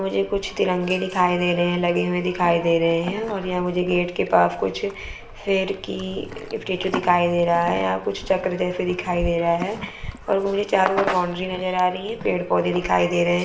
मुझे कुच्छ तिरंगे दिखाई दे रहे है लगे हुए दिखाई दे रहे है और यहाँ मुझे गेट के पास कुछ फेर की स्टॅच्यु दिखाई दे रहा है यहाँ कुछ चक्र जैसे दिखाई दे रहा है और मुझे चारों और बाउंड्री नज़र आ रही है पेड़ पौधे दिखाई दे रहे है।